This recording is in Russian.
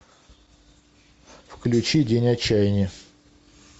включи день отчаяния